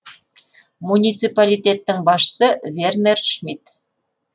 муниципалитеттің басшысы вернер шмит